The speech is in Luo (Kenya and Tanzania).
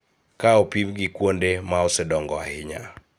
Ka opim gi kuonde ma osedongo ahinya.